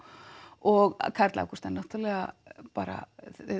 og Karl Ágúst er náttúrulega bara